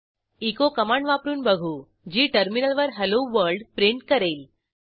echo command वापरून बघू जी टर्मिनलवर हेल्लो वर्ल्ड प्रिंट करेल